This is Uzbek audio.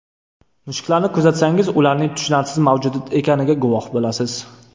Mushuklarni kuzatsangiz ularning tushunarsiz mavjudot ekaniga guvoh bo‘lasiz.